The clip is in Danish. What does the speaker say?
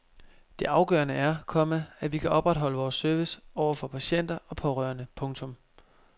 Det afgørende er, komma at vi kan opretholde vores service over for patienter og pårørende. punktum